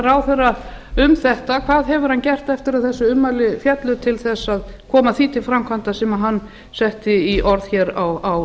ráðherra hvað hefur hann gert eftir að þessi ummæli féllu til þess að koma því til framkvæmda sem hann setti í orð á